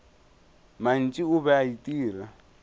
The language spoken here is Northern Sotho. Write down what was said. mantši o be a itira